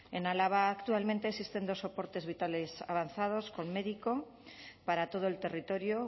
en álava actualmente existen dos soportes vitales avanzados con médico para todo el territorio